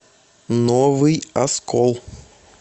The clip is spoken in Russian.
новый оскол